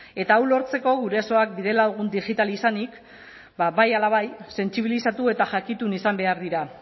eta hau lortzeko gurasoak bidelagun digital izanik ba bai ala bai sentsibilizatu eta jakitun izan behar dira